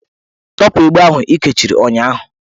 Tọpụ egbe ahụ ị kechiri ụnyahụ!